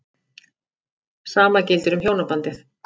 Sama gildir um hjónabandið.